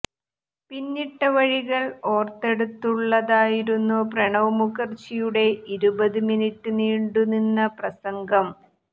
പിന്നിട്ട വഴികൾ ഓർത്തെടുത്തുള്ളതായിരുന്നു പ്രണബ് മുഖർജിയുടെ ഇരുപത് മിനിറ്റ് നീണ്ടുനിന്ന പ്രസംഗം